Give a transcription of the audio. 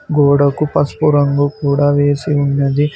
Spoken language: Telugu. గోడకు పసుపు రంగు కూడా వేసి ఉన్నది.